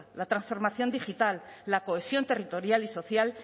la transformación digital la cohesión territorial y social